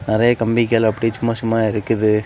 நிறைய கம்பிகள் அப்படி சும்மா சும்மா இருக்குது.